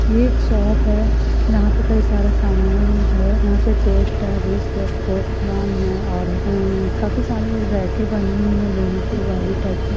ये एक शॉप है यहा पे कई सारा सामान है यहा पे टोस्ट है रोस्ट है पॉपकॉन है और उम काफी सारी रैकेँ बनी हुई है लोहे की टाइप की।